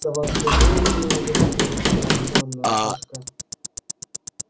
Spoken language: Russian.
сова взглянула на меня и зашипела как разъярённая кошка